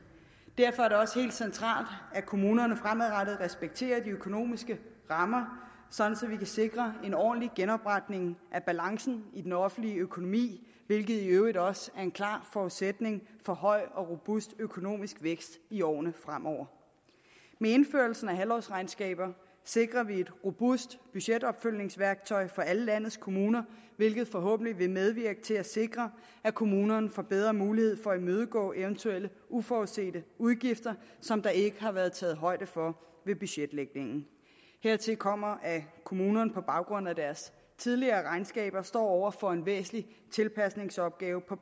derfor er det også helt centralt at kommunerne fremadrettet respekterer de økonomiske rammer sådan at vi kan sikre en ordentlig genopretning af balancen i den offentlige økonomi hvilket i øvrigt også er en klar forudsætning for høj og robust økonomisk vækst i årene fremover med indførelsen af halvårsregnskaber sikrer vi et robust budgetopfølgningsværktøj for alle landets kommuner hvilket forhåbentlig vil medvirke til at sikre at kommunerne får bedre mulighed for at imødegå eventuelle uforudsete udgifter som der ikke har været taget højde for ved budgetlægningen hertil kommer at kommunerne på baggrund af deres tidligere regnskaber står over for en væsentlig tilpasningsopgave på